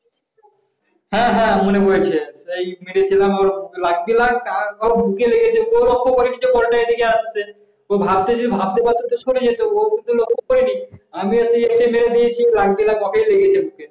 হ্যাঁ হ্যাঁ মনে পড়েছে এই মেরেছিলাম তার পর ওর বুকে লেগেছে তো ভাবতে পারতো সরে যেতে পারতো ও তো লক্ষ করিনি আমি সেই এতে মেরে দিয়েছি আর একে লেগেছে